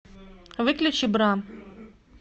выключи бра